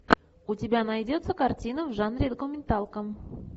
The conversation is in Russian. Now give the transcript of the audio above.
у тебя найдется картина в жанре документалка